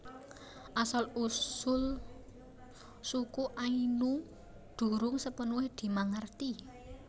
Asal usul suku Ainu durung sepenuhe dimangerti